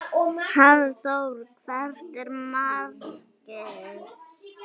Hafþór: Hvert er markið?